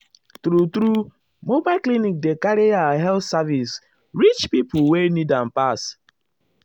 true-true mobile clinic dey carry ah health service reach pipo wey need am pass.